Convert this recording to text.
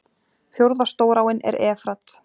Fjórða stóráin er Efrat.